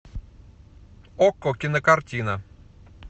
окко кинокартина